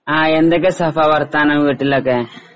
ആ എന്തൊക്കെ സഫ വർത്താനം വീട്ടിലൊക്കെ?